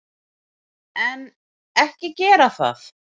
En, ekki gera það!